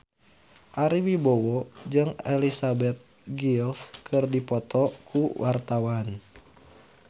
Ari Wibowo jeung Elizabeth Gillies keur dipoto ku wartawan